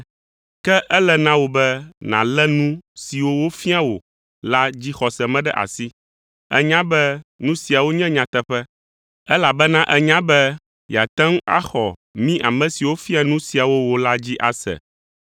Ke ele na wò be nàlé nu siwo wofia wò la dzixɔse me ɖe asi. Ènya be nu siawo nye nyateƒe, elabena ènya be yeate ŋu axɔ mí ame siwo fia nu siawo wò la dzi ase.